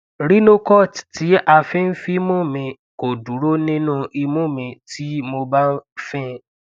rhinocort ti a fi n finmu mi ko duro ninu imu mi tii mo ba fin